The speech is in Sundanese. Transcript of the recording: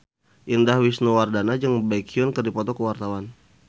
Indah Wisnuwardana jeung Baekhyun keur dipoto ku wartawan